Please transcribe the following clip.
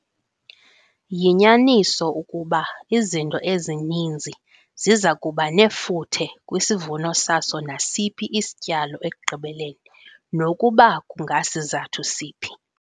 Yinyaniso ukuba izinto ezininzi ziza kuba nefuthe kwisivuno saso nasiphi isatyalo ekugqibeleni nokuba kungasizathu siphi.